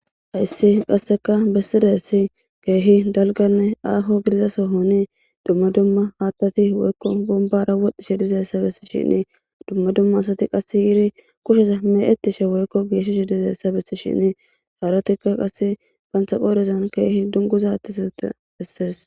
Hayssi qasseka bessidessi keehi dalganne aaho gidiza sohoni dumma dumma haattati weykko bumbara woxdishe dizessa bessi shinni dumma dumma asati qass yiri kushesa me,ettishe weykko geeshshish dizeessa bessi shinni haarotika qass fantaqorezan keehi dunguzattisate bessees.